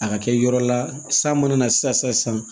A ka kɛ yɔrɔ la san mana na sisan